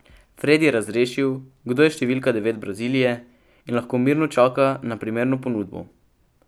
Fred je razrešil, kdo je številka devet Brazilije, in lahko mirno čaka na primerno ponudbo.